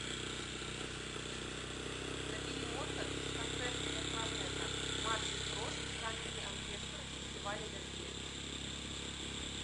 набери моцарт концерт для кларнета мартин фрост камерный оркестр фестиваля вербье